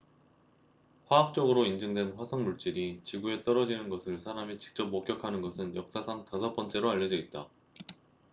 화학적으로 인증된 화성 물질이 지구에 떨어지는 것을 사람이 직접 목격하는 것은 역사상 다섯 번째로 알려져 있다